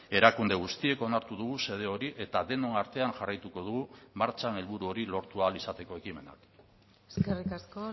erakunde guztiek onartu dugu xede hori eta denon artean jarraituko dugu martxan helburu hori lortu ahal izateko ekimena eskerrik asko